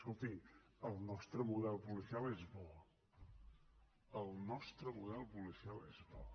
escolti el nostre model policial és bo el nostre model policial és bo